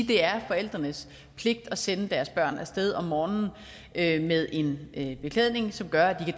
det er forældrenes pligt at sende deres børn af sted om morgenen med en en beklædning som gør at de